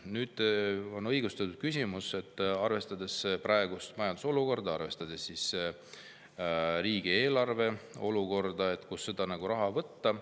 Nüüd on õigustatud küsimus, arvestades praegust majandusolukorda, arvestades riigieelarve olukorda, et kust seda raha võtta.